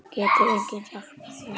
Getur enginn hjálpað þér?